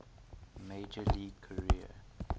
major league career